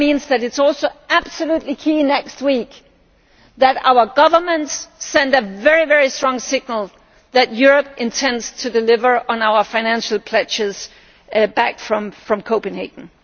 That means that it is also absolutely key next week that our governments send a very strong signal that Europe intends to deliver on our financial pledges made in Copenhagen.